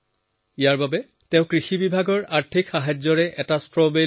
ইয়াৰ বাবে তেওঁ কৃষি বিভাগৰ পৰা আৰ্থিক সহায়ো লাভ কৰে